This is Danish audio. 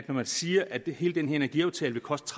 når man siger at hele den energiaftale vil koste